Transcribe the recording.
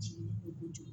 Jigin kojugu